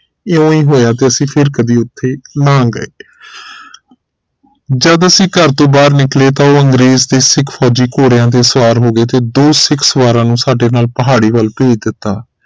ਐਵੇਂ ਹੀ ਹੋਇਆ ਤੇ ਅਸੀਂ ਫਿਰ ਕਦੇ ਓਥੇ ਨਾ ਗਏ ਜਦ ਅਸੀਂ ਘਰ ਤੋਂ ਬਾਹਰ ਨਿਕਲੇ ਤਾ ਉਹ ਅੰਗਰੇਜ਼ ਤੇ ਸਿੱਖ ਫੋਜੀ ਘੋੜਿਆਂ ਤੇ ਸਵਾਰ ਹੋ ਗਏ ਤੇ ਦੋ ਸਿੱਖ ਸਵਾਰਾ ਨੂੰ ਸਾਡੇ ਨਾਲ ਪਹਾੜੀ ਵਲ ਤੋਰ ਦਿੱਤਾ